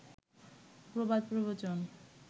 প্রবাদ প্রবচন